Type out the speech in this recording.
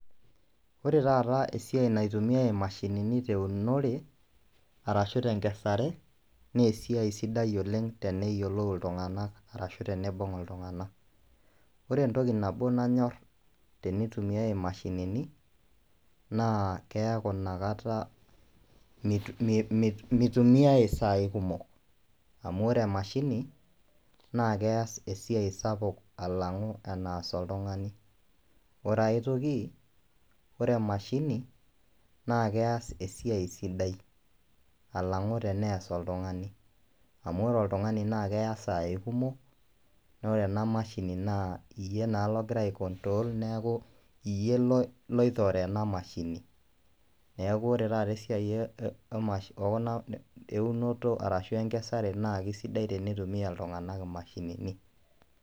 Wore taata esiai naitumiyai imashini teunore, arashu tenkesare, naa esiai sidai oleng' teneyiolou iltunganak arashu teneibung iltunganak. Wore entoki nabo nanyorr tenitumiyai imashinini, naa keaku inakata mitu.,mi., mutumiai isai kumok, amu wore emashini, naa keas esiai sapuk alang enaas oltungani, wore ae toki, wore emashini, naa keas esiai sidai alangu teneas oltungani, amu wore oltungani keya isai kumok, naa wore ena mashini naa iyie naa lokira ai control neeku, iyie loi loitore ena mashini. Neeku wore taata esiai emashi ekuna eunoto arashu enkesare naa aisidai tenitumiya iltunganak imashinini.